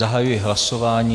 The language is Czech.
Zahajuji hlasování.